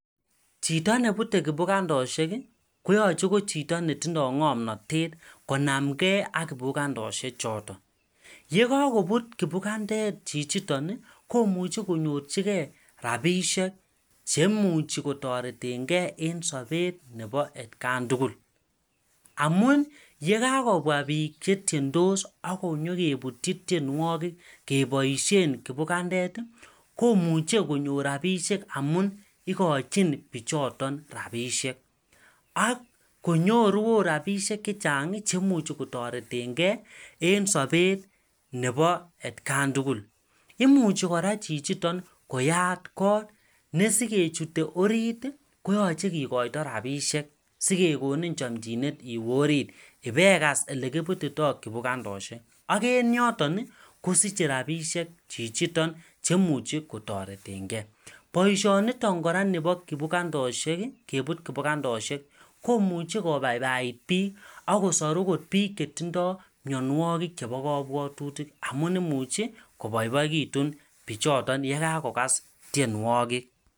Chito nebute kibukandosiek koyoche ko chito netindo ngomnatet konamnge ak kibukandosie choto. Ye kakobut kibukandet chichiton, komuche konyorchige rapisiek chemuchi kotoretenge en sobet nebo atkan tugul. Amun yekakokobwa biik chetiendos ak konyokebutyi tienwogik keboisien kibukandet komuche konyor rapisiek amun igochin biichoton rapisiek ak konyoru oot rapisiek chechang chemuchi kotoretenge en sobet nebo atkan tugul. Imuchi kora chichiton koyat kot ne sikechute orit ko yoche kikoito rapisiek sikekonin chomchinet iwe orit ipegas olekibutito kibukandosiek. Ak en yoton kosiche rapisiek chichiton chemuche kotoretenge. Boisionito kora nebo kibukandosiek, kebut kibukandosiek komuche kobaibait biik ak kosor ogot biik chetindo mianwogik chebo kabwatutik amun imuche koboiboegitu bichoto yekakokas tienwogik.